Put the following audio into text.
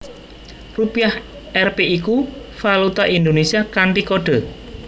Rupiah Rp iku valuta Indonésia kanthi kode